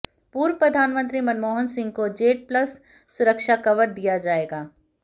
पूर्व प्रधानमंत्री मनमोहन सिंह को जेड प्लस सुरक्षा कवर दिया जाएगा